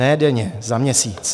Ne denně, za měsíc.